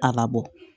A labɔ